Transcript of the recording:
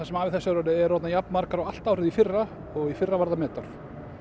sem af er þessu ári eru orðnar jafnmargar og allt árið í fyrra og í fyrra var metár